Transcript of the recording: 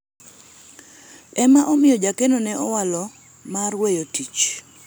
ema omiyo jakeno ne owalo mar weyo tich